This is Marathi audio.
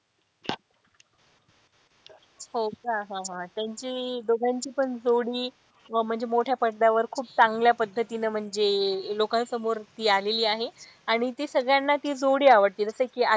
हो का हा हा त्यांची दोघांची पण जोडी म्हणजे मोठ्या पडद्यावर खूप चांगल्या पद्धतीने म्हणजे लोकांसमोर ती आलेली आहे आणि ती सगळ्यांना ती जोडी आवडते जस कि,